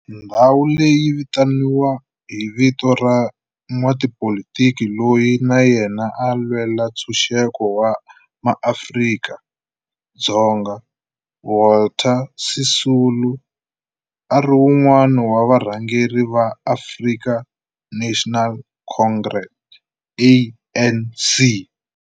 Ndhawu leyi yi vitaniwa hi vito ra n'watipolitiki loyi na yena a lwela ntshuxeko wa maAfrika-Dzonga Walter Sisulu, a ri wun'wana wa varhangeri va African National Congress, ANC.